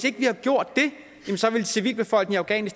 ikke havde gjort det ville civilbefolkningen